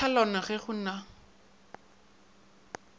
sa tlhalano ge go na